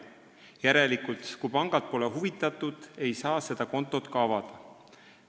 Järelikult: kui pangad pole huvitatud, ei saa seda kontot ka avada.